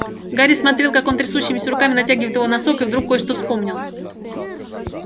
гарри смотрел как он трясущимися руками натягивает его носок и вдруг кое-что вспомнил